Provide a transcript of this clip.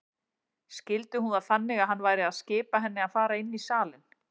Skildi hún það þannig að hann væri að skipa henni að fara inn í salinn?